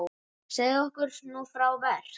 Segðu okkur nú frá verk